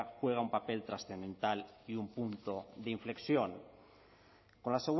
juega un papel trascendental y un punto de inflexión con la